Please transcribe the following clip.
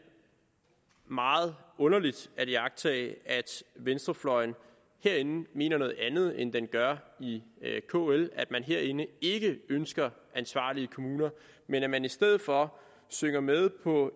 meget underligt at iagttage at venstrefløjen herinde mener noget andet end den gør i kl at man herinde ikke ønsker ansvarlige kommuner men at man i stedet for synger med på